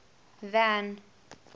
van